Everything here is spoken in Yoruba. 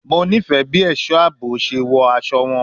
Mo nifẹ bi aṣọ aabo ṣe wọ aṣọ wọn